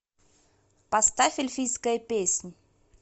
поставь эльфийская песнь